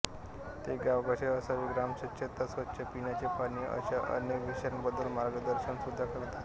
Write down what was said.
ते गाव कसे असावे ग्रामस्वच्छता स्वच्छ पिण्याचे पाणी अश्या अनेक विषयांबद्दल मार्गदर्शनसुद्धा करतात